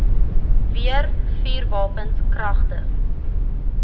weer vuurwapens kragtens